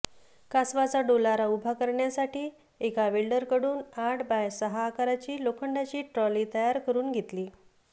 कासवाचा डोलारा उभा करण्यासाठी एका वेल्डरकडून आठ बाय सहा आकाराची लोखंडाची ट्रॉली तयार करून घेतली